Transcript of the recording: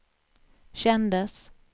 kändes